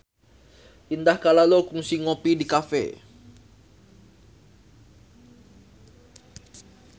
Indah Kalalo kungsi ngopi di cafe